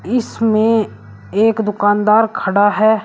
इसमें एक दुकानदार खड़ा है।